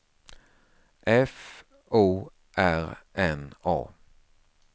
F O R N A